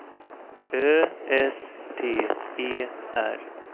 Ö S T E R